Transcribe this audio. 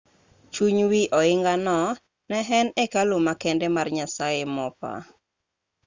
chuny wi ohingano ne en hekalu makende mar nyasaye mopa